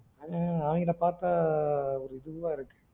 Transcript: ம் அவங்கள பாத்தா ஒரு இதுவா இருக்கு